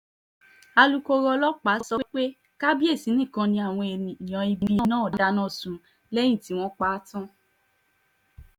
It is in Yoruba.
alūkkóró ọlọ́pàá sọ pé kábíyèsí nìkan ni àwọn èèyàn ibi náà dáná sun lẹ́yìn tí wọ́n pa á tán